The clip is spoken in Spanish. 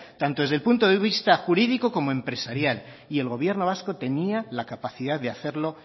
tanto desde el punto de vista jurídico como empresarial y el gobierno vasco tenía la capacidad de hacerlo